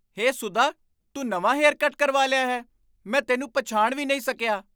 ਹੇ ਸੁਧਾ, ਤੂੰ ਨਵਾਂ hair cut ਕਰਵਾ ਲਿਆ ਹੈ! ਮੈਂ ਤੈਨੂੰ ਪਛਾਣ ਵੀ ਨਹੀਂ ਸਕਿਆ!